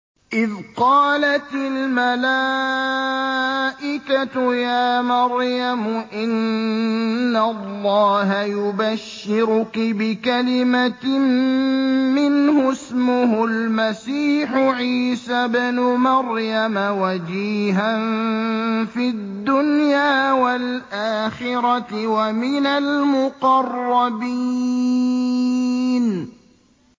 إِذْ قَالَتِ الْمَلَائِكَةُ يَا مَرْيَمُ إِنَّ اللَّهَ يُبَشِّرُكِ بِكَلِمَةٍ مِّنْهُ اسْمُهُ الْمَسِيحُ عِيسَى ابْنُ مَرْيَمَ وَجِيهًا فِي الدُّنْيَا وَالْآخِرَةِ وَمِنَ الْمُقَرَّبِينَ